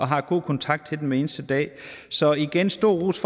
har god kontakt til dem hver eneste dag så igen stor ros